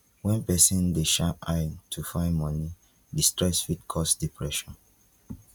when person dey shine eye to find money di stress fit cause depression